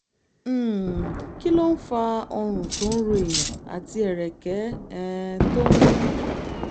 um kí ló ń fa ọrùn tó ń ro èèyàn àti ẹ̀rẹ̀kẹ́ um tó ń wú?